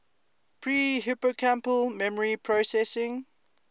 pre hippocampal memory processing